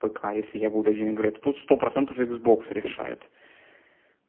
пк если я буду один играть то тут сто процентов иксбокс решает